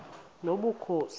nobukhosi